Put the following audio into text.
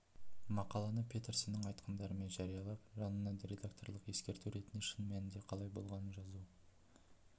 мақаланы петерсонның айтқандарымен жариялап жанына редакторлық ескерту ретінде шын мәнінде қалай болғанын жазу